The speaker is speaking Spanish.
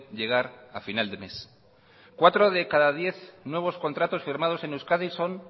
llegar a final de mes cuatro de cada diez nuevos contratos firmados en euskadi son